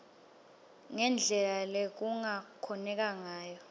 ngendlela lekungakhoneka ngayo